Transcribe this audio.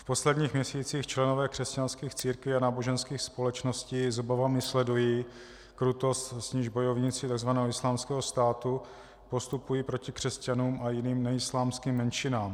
V posledních měsících členové křesťanských církví a náboženských společností s obavami sledují krutost, s níž bojovníci tzv. Islámského státu postupují proti křesťanům a jiným neislámským menšinám.